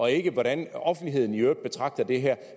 er ikke hvordan offentligheden i øvrigt betragter det her